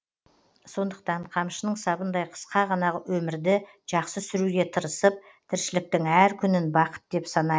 сондықтан қамшының сабындай қысқа ғана өмірді жақсы сүруге тырысып тіршіліктің әр күнін бақыт деп санайық